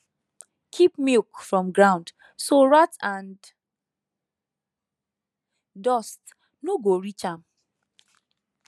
keep milk from ground so rat and dust no go reach am